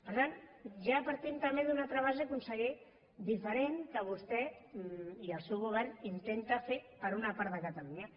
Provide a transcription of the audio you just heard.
per tant ja partim també d’una altra base conseller diferent que vostè i el seu govern intenten fer per a una part de catalunya